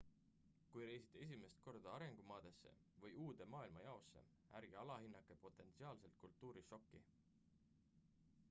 kui reisite esimest korda arengumaadesse või uude maailmajaosse ärge alahinnake potentsiaalset kultuurišokki